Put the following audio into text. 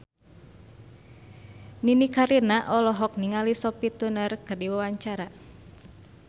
Nini Carlina olohok ningali Sophie Turner keur diwawancara